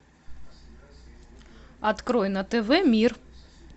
открой на тв мир